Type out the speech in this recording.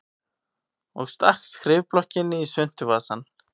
Og stakk skrifblokkinni í svuntuvasann.